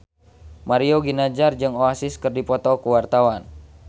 Mario Ginanjar jeung Oasis keur dipoto ku wartawan